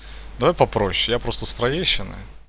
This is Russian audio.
давай попросишь я просто с троещины